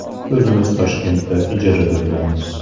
O‘zimiz Toshkentda ijarada turamiz.